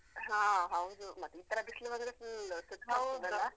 ಹಾ ಹೌದು, ಮತ್ತೆ ಈತರ ಬಿಸ್ಲು ಬಂದ್ರೆ full ಸುಸ್ತಾಗ್ತಾದಲ್ಲ.